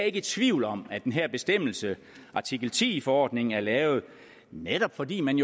ikke i tvivl om at den her bestemmelse artikel ti i forordningen er lavet netop fordi man